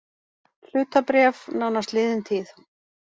Hlutabréf nánast liðin tíð